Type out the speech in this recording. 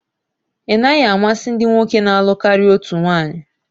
Ị naghị amasị ndị nwoke na-alụ karịa otu nwaanyi?